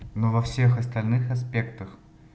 ну во всех остальных аспектах